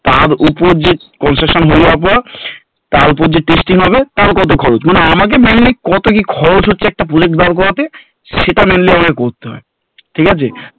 তার ওপর যে construction হয়ে যাওয়ার পর তার ওপর যে testing হবে তার কত খরচ মানে আমাকে mainly কত কি খরচ হচ্ছে একটা project বার করতে সেটা mainly আমাদের করতে হয় ঠিক আছে